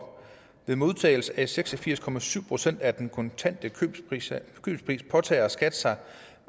ved modtagelse af seks og firs procent procent af den kontante købspris påtager skat sig